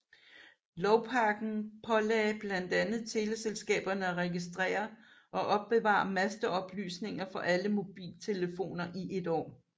Lovpakken pålagde blandt andet teleselskaberne at registrere og opbevare masteoplysninger for alle mobiltelefoner i et år